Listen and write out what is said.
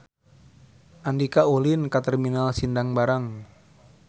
Andika ulin ka Terminal Sindang Barang